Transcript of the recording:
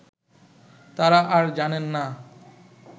তারা আর জানেন না